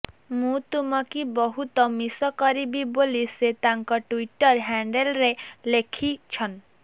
ମୁଁ ତୁମକି ବହୁତ ମିଶ କରିବି ବୋଲି ସେ ତାଙ୍କ ଟ୍ୱିଟର ହ୍ୟାଣ୍ଡେଲରେ ଲେଖିଛନ